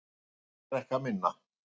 Bretar drekka minna